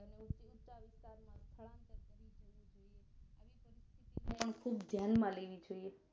આમ ખુબ ધ્યાન માં લેવી જોઈએ